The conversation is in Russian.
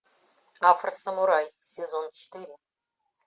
афросамурай сезон четыре